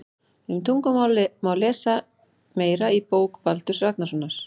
Um tungumál má lesa meira í bók Baldurs Ragnarssonar.